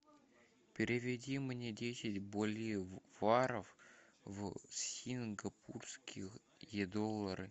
переведи мне десять боливаров в сингапурские доллары